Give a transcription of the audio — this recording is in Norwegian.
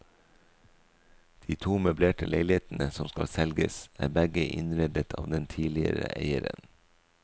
De to møblerte leilighetene som skal selges er begge innredet av den tidligere eieren.